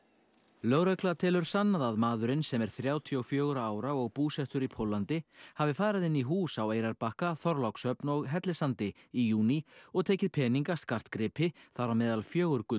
lögregla telur sannað að maðurinn sem er þrjátíu og fjögurra ára og búsettur í Póllandi hafi farið inn í hús á Eyrarbakka Þorlákshöfn og Hellissandi í júní og tekið peninga skartgripi þar á meðal fjögur